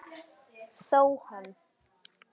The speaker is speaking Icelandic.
Þó hann